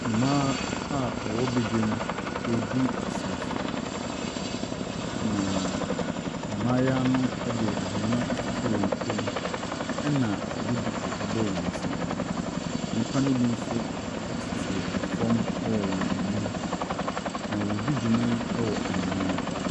Mmaa a wɔwɔ badwam no ɛredi asa. Na mmaayewa no de aweneɛ ato wɔn mu na wɔde duku a wɔn ti. Nnipa ne bi nso tete fam wɔn anim. Na wɔredi dwuma yi wɔ anwea ne mu.